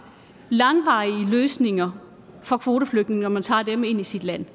langvarige løsninger for kvoteflygtninge når man tager dem ind i sit land